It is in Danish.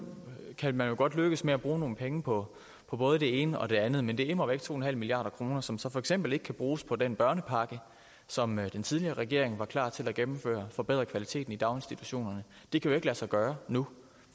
kan man jo godt lykkes med at bruge nogle penge på både det ene og den andet men det er immer væk to milliard kr som så for eksempel ikke kan bruges på den børnepakke som den tidligere regering var klar til at gennemføre der forbedre kvaliteten i daginstitutionerne det kan jo ikke lade sig gøre nu